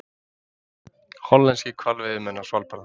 Hollenskir hvalveiðimenn á Svalbarða.